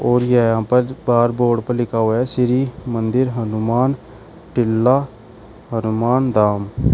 और ये यहां पर बाहर बोर्ड पर लिखा हुआ है श्री मंदिर हनुमान टिल्ला हनुमान धाम।